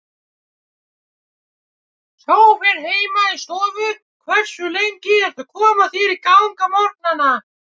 Sófinn heima í stofu Hversu lengi ertu að koma þér í gang á morgnanna?